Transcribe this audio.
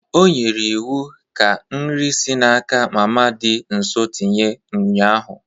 O nyere iwu ka nri si n'aka mama dị nso tinye ụnyahụ.